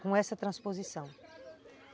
com essa transposição.